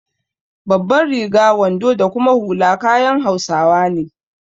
Babbar riga, wando da kuma hula kayan hausawa ne.